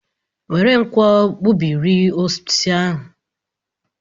Were nkwọ gbubiri osisi ebe a!